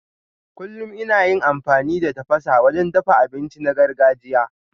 Kullum ina yin amfani da tafasa wajen dafa abinci na gargajiya.